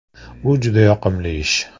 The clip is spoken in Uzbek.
Bu juda yoqimli ish.